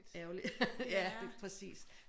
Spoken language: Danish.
Ærgerligt ja det præcis